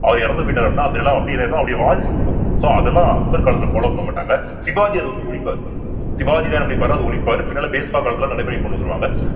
அவர் இறந்து போயிட்டாரு அப்படின்னா அந்த நிலம் அப்படியே என்ன ஆயிரும்ன்னா அவருடைய வாரிசுக்கு வரும் so அதெல்லாம் அக்பர் காலத்துல follow பண்ண மாட்டாங்க சிவாஜி அதை வந்து ஒழிப்பாரு சிவாஜிதான் என்ன பண்ணிருப்பாருன்னா அதை ஒழிப்பாரு பின்னால காலத்துல நடைமுறைக்கு கொண்டு வந்துருவாங்க